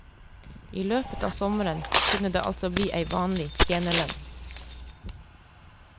I løpet av sommeren kunne det altså ble ei vanlig tjenerlønn.